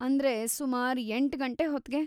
ಅಂದ್ರೆ, ಸುಮಾರ್‌ ಎಂಟ್ಗಂಟೆ ಹೊತ್ಗೆ?